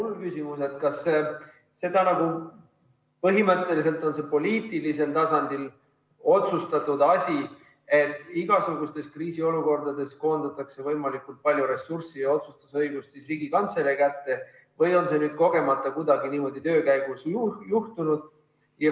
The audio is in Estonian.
Mul on küsimus, kas see on põhimõtteliselt poliitilisel tasandil otsustatud asi, et igasugustes kriisiolukordades koondatakse võimalikult palju ressurssi ja otsustusõigust Riigikantselei kätte, või on see nüüd kuidagi kogemata töö käigus juhtunud.